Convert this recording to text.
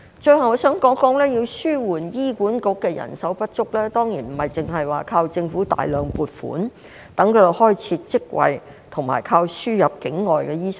最後，我想談談，要紓緩醫管局的人手不足，當然不只靠政府大量撥款，待它開設職位及依靠輸入境外醫生。